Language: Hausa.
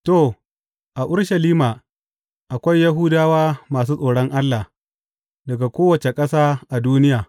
To, a Urushalima akwai Yahudawa masu tsoron Allah, daga kowace ƙasa a duniya.